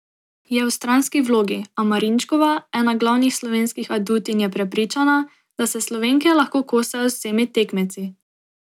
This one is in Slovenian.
Je v stranski vlogi, a Marinčkova, ena glavnih slovenskih adutinj je prepričana, da se Slovenke lahko kosajo z vsemi tekmeci.